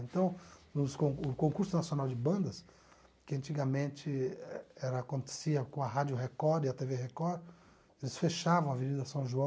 Então, nos con o concurso nacional de bandas, que antigamente era acontecia com a Rádio Record e a te vê Record, eles fechavam a Avenida São João,